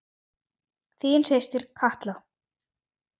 Þín systir Katla.